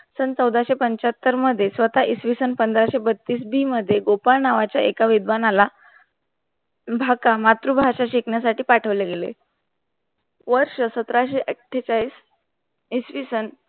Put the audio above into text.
सन चौदाशे पंच्याहत्तर मध्ये स्वतः इसवी सन पंधराशे बत्तीस बी मध्ये गोपाळ नावाच्या एका विद्वानाला भाका मातृभाषा शिकण्यासाठी पाठवलं गेले वर्ष सतराशे अट्ठेचाळीस इसवी सन